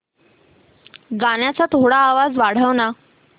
गाण्याचा थोडा आवाज वाढव ना